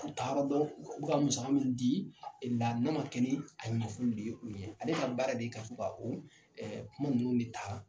U taara dɔn u bɛ ka musaka min di a na kun de o ye ale ka baara de ye ka to ka kuma ninnu de taa.